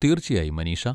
തീർച്ചയായും, മനീഷ.